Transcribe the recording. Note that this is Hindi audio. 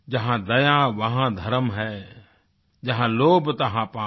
जहां दया तहं धर्म है जहां लोभ तहं पाप